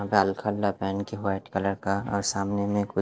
गालखा पहन के white colour का और सामने में--